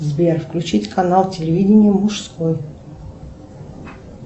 сбер включить канал телевидение мужской